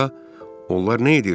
Onlar nə edirdilər?